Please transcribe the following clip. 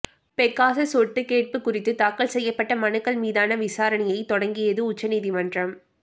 Pegasus ஒட்டுக்கேட்பு குறித்து தாக்கல் செய்யப்பட்ட மனுக்கள் மீதான விசாரணையை தொடங்கியது உச்சநீதிமன்றம்